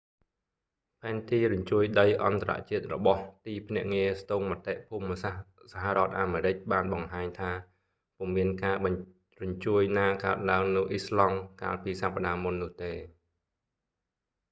ផែនទីរញ្ជួយដីអន្តរជាតិរបស់ទីភ្នាក់ងារ ស្ទង់មតិភូមិសាស្ត្រសហរដ្ឋអាមេរិក បានបង្ហាញថា ពុំមានការរញ្ជួយណាកើតឡើងនៅអ៊ីស្លង់ iceland កាលពីសប្តាហ៍មុននោះទេ